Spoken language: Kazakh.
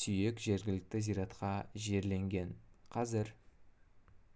сүйек жергілікті зиратқа жерленген қазір